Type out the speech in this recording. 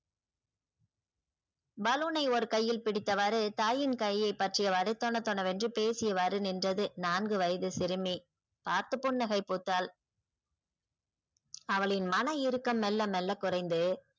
baloon னை ஒரு கையில் பிடித்தவாறு தாயின் கையை பற்றியவாறு தொண தொணவென்று பேசியவாறு நின்றது நான்கு வயது சிறுமி பார்த்து புன்னகை பூத்தால் அவளின் மன இருக்கம் மெல்ல மெல்ல குறைந்து